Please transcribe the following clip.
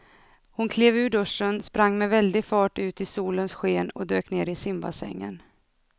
Hon klev ur duschen, sprang med väldig fart ut i solens sken och dök ner i simbassängen.